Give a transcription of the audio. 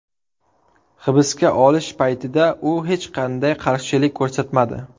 Hibsga olish paytida u hech qanday qarshilik ko‘rsatmadi.